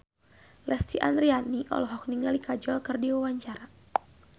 Lesti Andryani olohok ningali Kajol keur diwawancara